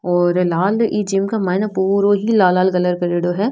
और लाल इ जिम के माइन पूरो ही लाल लाल कलर करेडो है।